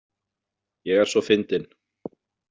Ég er svo fyndin.